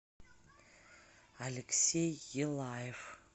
алексей елаев